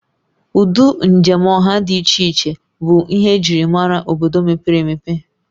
Ụdị njem ọha dị iche iche bụ ihe njirimara obodo mepere emepe